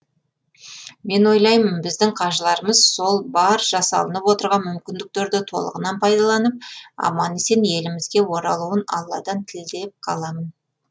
мен ойлаймын біздің қажыларымыз сол бар жасалынып отырған мүмкіндіктерді толығынан пайдаланып аман есен елімізге оралуын алладан тілеп қаламын